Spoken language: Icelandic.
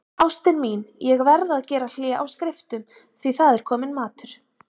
Ástin mín, ég verð að gera hlé á skriftum, því það er kominn matur.